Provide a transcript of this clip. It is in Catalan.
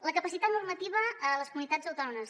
la capacitat normativa a les comunitats autònomes